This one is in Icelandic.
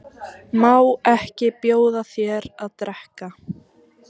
Má ekki bjóða þér að drekka?